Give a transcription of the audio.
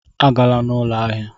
Agala na ụlọ ahịa!